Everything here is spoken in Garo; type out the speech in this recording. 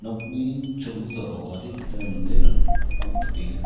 nokni cholgugao adita manderang napangtokenga.